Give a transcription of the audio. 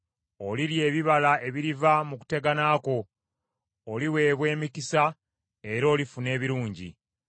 Olirya ebibala ebiriva mu kutegana kwo; oliweebwa emikisa era olifuna ebirungi.